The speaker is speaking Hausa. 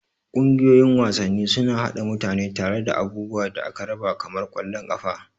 Ƙungiyoyin wasanni suna haɗa mutane tare da abubuwan da aka raba kamar ƙwallon ƙafa.